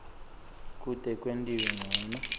kute kwentiwe ncono